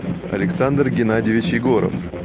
александр геннадьевич егоров